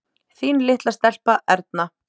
Þín litla stelpa, Erna.